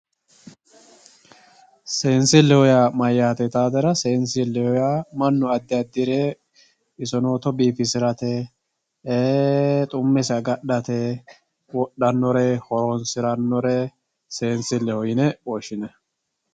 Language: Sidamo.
seensilleho yaa maati yitaatera seensilleho yaa mannu addi addire isoneeto biifisatera xummesi agadhate wodhannore horonsirannore seensilleho yine woshshinanni